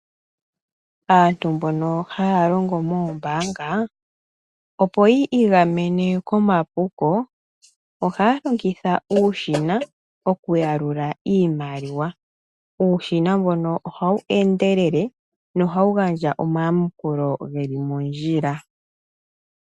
Aantu mbono haya longo moombaanga, opo yi igamane komapuko, ohaya longitha uushina, oku yalula iimaliwa. Uushina mbono ohawu endelele, nohawu gandja omayakulo geli mondjila.